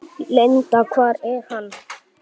Linda: Hvar er hann?